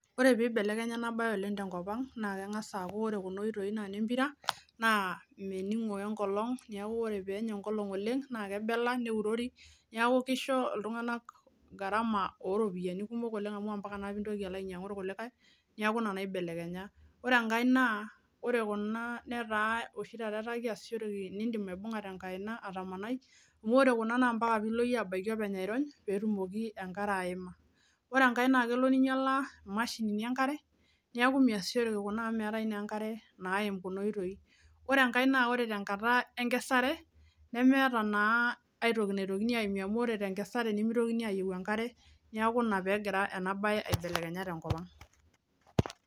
Ore pibelekenya ena baye oleng tenkop ang naa keng'as aaku ore kuna oitoi naa nempira naa mening'o wenkolong niaku ore peenya enkolong oleng naa kebela neurori niaku kisho iltung'anak gharama oropiyiani kumok oleng amu ampaka naa pintoki alo ainyiang'u irkulikake niaku ina naibelekenya ore enkae naa ore kuna netaa oshi taata etaa kiasishoreki nindim aibung'a tenkaina atamanai amu ore kuna naa ampaka piilo iyie abaiki openy airony petumoki enkare aima ore enkae naa kelo ninyiala imashinini enkare niaku miasishoreki kuna amu meetae naa enkare naim kuna oitoi ore enkae naa ore tenkata enkesare nemeeta naa aetoki naitokini aimie amu ore tenkesare nemitokini ayieu enkare niaku ina peegira ena baye aibelekenya tenkop ang.